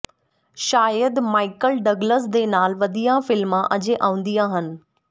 ਸ਼ਾਇਦ Michael Douglas ਦੇ ਨਾਲ ਵਧੀਆ ਫਿਲਮਾਂ ਅਜੇ ਆਉਂਦੀਆਂ ਹਨ